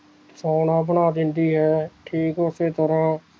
ਸੋਹਣਾ ਬਣਾ ਦਿੰਦੀ ਹੈ ਠੀਕ ਉਸੇ ਤਰਾਂ